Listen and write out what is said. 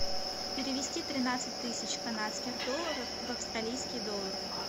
перевести тринадцать тысяч канадских долларов в австралийские доллары